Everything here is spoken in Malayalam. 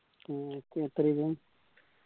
ഉം എത്രയായിരുന്ന്